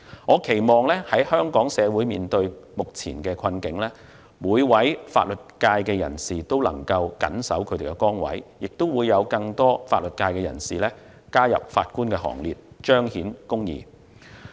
我期望在香港社會面對目前困境的時候，每名法律界人士都能夠謹守崗位，亦會有更多法律界人士加入法官行列，彰顯公義。